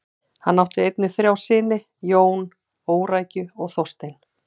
Hann átt einnig þrjá syni: Jón, Órækju og Þorstein.